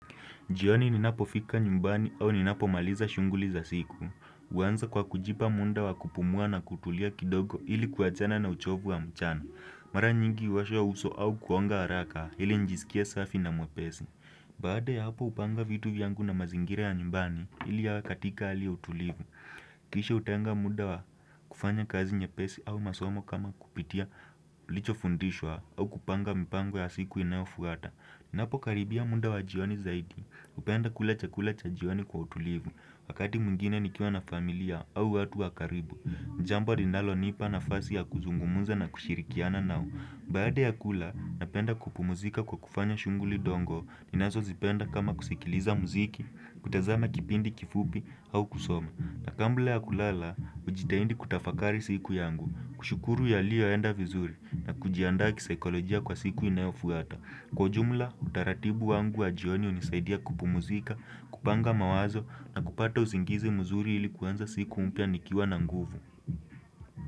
Jioni ninapofika nyumbani au ninapomaliza shughuli za siku. Huanza kwa kujipa muda wa kupumua na kutulia kidogo ili kuachana na uchovu wa mchana. Mara nyingi huosha uso au kuoga haraka ili nijisikie safi na mwepesi. Baada ya hapo hupanga vitu vyangu na mazingira ya nyumbani ili yawe katika hali ya utulivu. Kisha hutenga muda wa kufanya kazi nyepesi au masomo kama kupitia nilichofundishwa au kupanga mpango ya siku inayofuata. Ninapokaribia muda wa jioni zaidi, hupenda kula chakula cha jioni kwa utulivu, wakati mwingine nikiwa na familia au watu wa karibu, jambo linalonipa nafasi ya kuzungumza na kushirikiana nao. Baada ya kula, napenda kupumzika kwa kufanya shughuli ndogo, ninazozipenda kama kusikiliza muziki, kutazama kipindi kifupi au kusoma. Na kabla ya kulala, hujitahidi kutafakari siku yangu, kushukuru yalioenda vizuri na kujiandaa kisaikolojia kwa siku inayofuata. Kwa ujumla, utaratibu wangu wa jioni hunisaidia kupumzika, kupanga mawazo na kupata usingizi muzuri ili kuanza siku mpya nikiwa na nguvu.